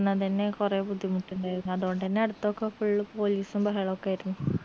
നടന്നതെന്നെ കൊറേ ബുദ്ധിമുട്ടുണ്ടായിരുന്നു അതോണ്ടെന്നെ അടുത്തൊക്കെ full പോലീസും ബഹളു ഒക്കെ ആയിരുന്നു